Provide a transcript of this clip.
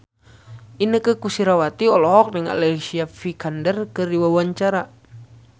Inneke Koesherawati olohok ningali Alicia Vikander keur diwawancara